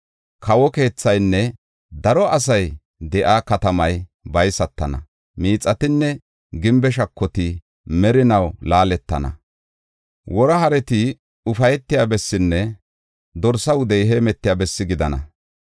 Kawo keethaynne daro asay de7iya katamay baysatana; miixatinne gimbe shakoti merinaw laaletana; wora hareti ufaytiya bessinne dorsa wudey heemetiya bessi gidana.